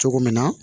Cogo min na